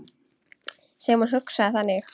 Sem hún hugsaði þannig.